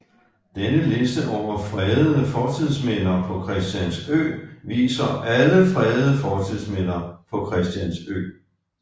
Denne liste over fredede fortidsminder på Christiansø viser alle fredede fortidsminder på Christiansø